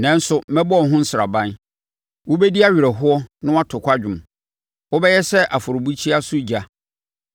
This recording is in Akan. Nanso, mɛbɔ wo ho nsraban; wobɛdi awerɛhoɔ na wato kwadwom, wobɛyɛ sɛ afɔrebukyia so ogya.